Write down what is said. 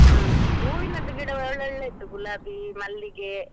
ಹ್ಮ್ ಹೂವಿನದ್ದು ಗಿಡ ಒಳ್ಳೊಳ್ಳೆ ಇತ್ತು ಗುಲಾಬಿ, ಮಲ್ಲಿಗೆ.